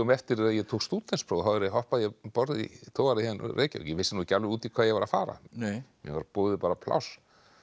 eftir að ég tók stúdentspróf þá hoppaði ég um borð í togara hér í Reykjavík ég vissi ekki alveg út í hvað ég var að fara mér var boðið bara pláss